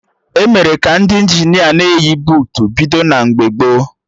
Emere ka Ndị Injinia na-eyi buutu bido na mgbe gboo